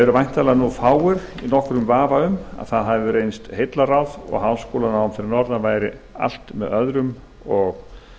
væntanlega efast fáir um það núna að það hafi reynst heillaráð og að háskólanám fyrir norðan væri allt með öðrum og